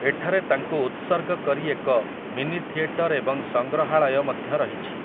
ଏଠାରେ ତାଙ୍କୁ ଉତ୍ସର୍ଗ କରି ଏକ ମିନିଥିଏଟର୍ ଏବଂ ସଂଗ୍ରହାଳୟ ମଧ୍ୟ ରହିଛି ।